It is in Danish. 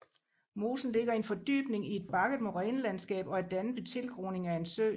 Mosen ligger i en fordybning i et bakket morænelandskab og er dannet ved tilgroning af en sø